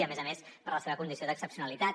i a més a més per la seva condició d’excepcionalitat